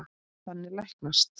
Þannig læknast